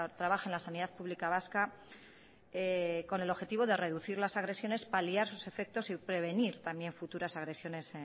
trabaja en la sanidad pública vasca con el objetivo de reducir las agresiones paliar sus efectos y prevenir también futuras agresiones